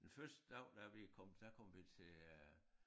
Den første dag da vi kom der der kom vi til øh